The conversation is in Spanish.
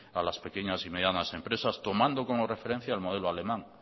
a las pequeñas y medianas empresas tomando como referencia el modelo alemán